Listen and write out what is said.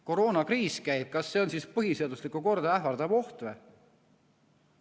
Koroonakriis käib, kas see on põhiseaduslikku korda ähvardav oht või?